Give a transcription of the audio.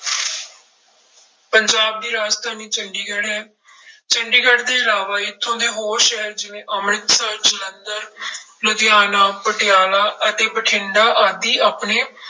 ਪੰਜਾਬ ਦੀ ਰਾਜਧਾਨੀ ਚੰਡੀਗੜ੍ਹ ਹੈ ਚੰਡੀਗੜ੍ਹ ਦੇ ਇਲਾਵਾ ਇੱਥੋਂ ਦੇ ਹੋਰ ਸ਼ਹਿਰ ਜਿਵੇਂ ਅੰਮ੍ਰਿਤਸਰ, ਜਲੰਧਰ ਲੁਧਿਆਣਾ, ਪਟਿਆਲਾ ਅਤੇ ਬਠਿੰਡਾ ਆਦਿ ਆਪਣੇ